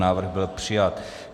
Návrh byl přijat.